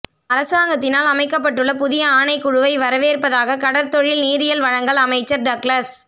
அரசாங்கத்தினால் அமைக்கப்பட்டுள்ள புதிய ஆணைக்குழுவை வரவேற்பதாக கடற்தொழில் நீரியல் வழங்கல் அமைச்சர் டக்ளஸ்